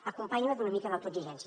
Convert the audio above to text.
acompanyi la d’una mica d’autoexigència